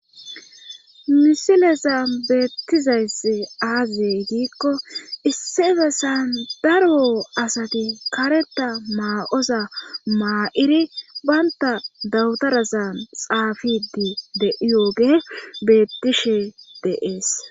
misileza beettizayssi aazey giikko issebesan daro asati kareta maa7oza maa7iri baynta dawutarazan xaafidi de7iyooge bettishe deees